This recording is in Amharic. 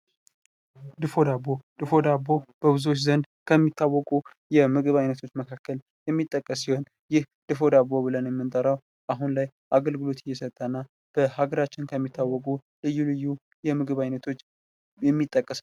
ድፎ ዳቦ፦ ድፎ ዳቦ በብዙዎች ዘንድ ከሚታወቁ የምግብ አይነቶች መካከል የሚጠቀስ ሲሆን ይህ ድፎ ዳቦ ብለን የምንጠራው አሁን ላይ አገልግሎት እየሰጠና በሀገራችን ከሚታወቁ ልዩ ልዩ የምግብ አይነቶች የሚጠቀስ ነው።